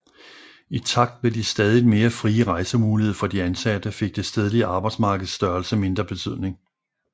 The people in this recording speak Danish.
I takt med de stadigt mere frie rejsemuligheder for de ansatte fik det stedlige arbejdsmarkeds størrelse mindre betydning